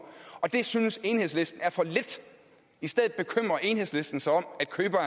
og det synes enhedslisten er for lidt i stedet bekymrer enhedslisten sig om at købere